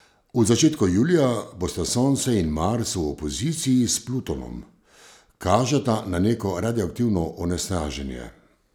V začetku julija bosta Sonce in Mars v opoziciji s Plutonom, kažeta na neko radioaktivno onesnaženje.